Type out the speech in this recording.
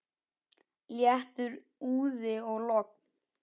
Léttur úði og logn.